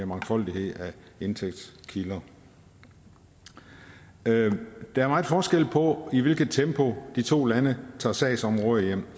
mangfoldighed af indtægtskilder der er meget forskel på i hvilket tempo de to lande tager sagsområder